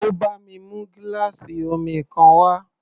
Ó bá mi mú gíláàsì omi kan wá.